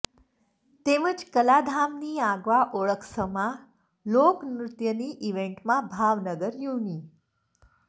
તેમજ કલાધામની આગવા ઓળખસમા લોક નૃત્યની ઈવેન્ટમાં ભાવનગર યુનિ